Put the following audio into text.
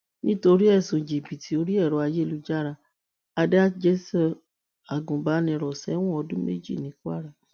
nítorí ẹsùn jìbìtì orí ẹrọ ayélujára adájọ sọ agùnbàníró sẹwọn ọdún méjì ní kwara